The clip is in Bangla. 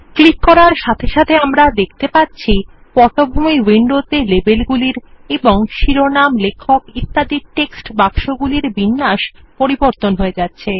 ক্লিক করার সাথে সাথে আমরা দেখতে পাচ্ছি পটভূমি উইন্ডোতে লেবেলগুলির এবং শিরোনাম লেখক ইত্যাদির টেক্সট বাক্সগুলির বিন্যাস পরিবর্তন হয়ে যাচ্ছে